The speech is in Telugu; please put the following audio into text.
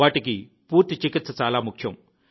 వాటికి పూర్తి చికిత్స చాలా ముఖ్యం